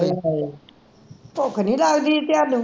ਆਏ ਹਾਏ ਭੁੱਖ ਨਹੀਂ ਲਗਦੀ ਤੁਹਾਨੂੰ